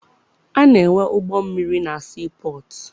A na-enwe ụgbọmmiri na sii pọtụ.